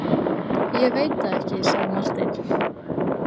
Ég veit það ekki, sagði Marteinn.